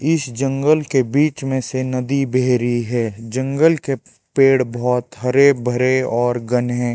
इस जंगल के बीच में से नदी बेह रही है जंगल के पेड़ बहोत हरे भरे और घने--